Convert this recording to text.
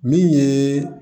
Min ye